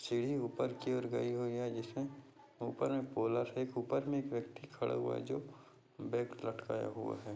सीढ़ी ऊपर की और गयी हुई है जिसमे ऊपर मे है ऊपर मे एक व्यक्ति खड़े हुआ है जो बैग लटकाया हुआ है।